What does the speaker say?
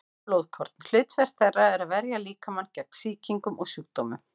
Hvít blóðkorn: hlutverk þeirra er að verja líkamann gegn sýkingum og sjúkdómum.